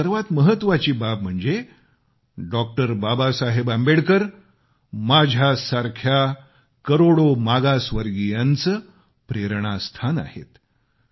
आणि सर्वात महत्वाची बाब म्हणजे डॉ बाबासाहेब आंबेडकर माझ्यासारख्या करोडो मागासवर्गीयांचे प्रेरणास्थान आहेत